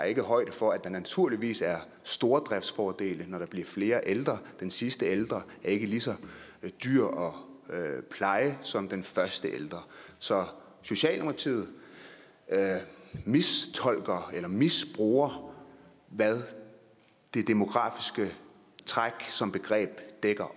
ikke højde for at der naturligvis er stordriftsfordele når der blive flere ældre den sidste ældre er ikke lige så dyr at pleje som den første ældre så socialdemokratiet mistolker eller misbruger hvad det demografiske træk som begreb dækker